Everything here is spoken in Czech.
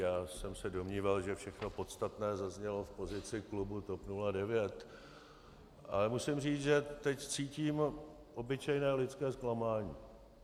Já jsem se domníval, že všechno podstatné zaznělo v pozici klubu TOP 09, ale musím říct, že teď cítím obyčejné lidské zklamání.